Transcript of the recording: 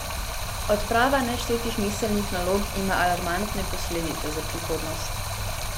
Odprava neštetih miselnih nalog ima alarmantne posledice za prihodnost.